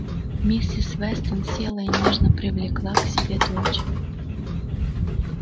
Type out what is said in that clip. миссис вестон села и нежно привлекла к себе дочь